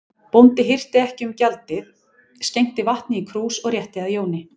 Bóndi hirti ekki um gjaldið, skenkti vatni í krús og rétti að Jóni.